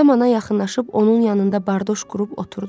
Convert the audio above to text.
Kamana yaxınlaşıb onun yanında bardoş qurub oturdu.